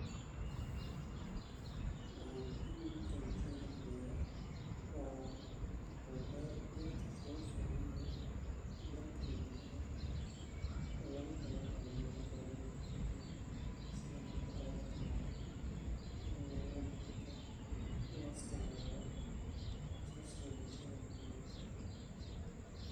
Waxey muhiim ugutahay bulshada daxdeedha waa beer beertas ugufican in dalka iyo dibada bo oo lagahelo waxwalbo oo markaa loobahannyahay sidha marka abaarta dacdo in lagurto lasiticmaalo saas aye bulshada muhiim ugutahay.